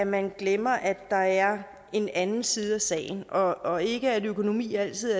man glemmer at der er en anden side af sagen og ikke at økonomi altid